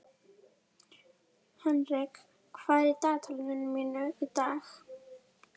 Henrik, hvað er í dagatalinu mínu í dag?